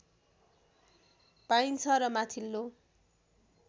पाइन्छ र माथिल्लो